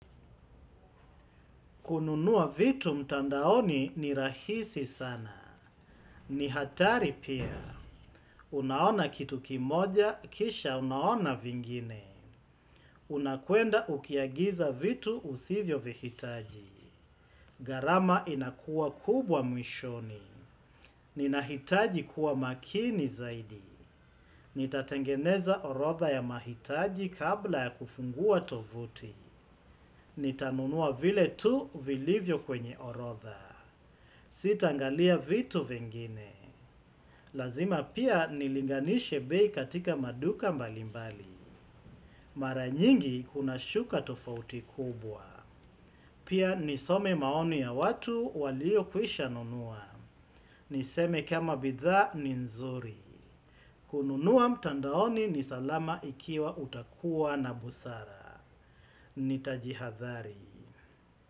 Kununua vitu mtandaoni ni rahisi sana. Ni hatari pia. Unaona kitu kimoja, kisha unaona vingine. Unakuenda ukiagiza vitu usivyo vihitaji. Gharama inakua kubwa mwishoni. Ninahitaji kuwa makini zaidi. Nitatengeneza orotha ya mahitaji kabla ya kufungua tovuti. Nitanunua vile tu vilivyo kwenye orotha. Sitaangalia vitu vingine. Lazima pia nilinganishe bei katika maduka mbalimbali. Mara nyingi kuna shuka tofauti kubwa. Pia nisome maoni ya watu walio kwisha nunua. Niseme kama bidhaa ni nzuri. Kununua mtandaoni ni salama ikiwa utakuwa na busara. Nitaji hadhari.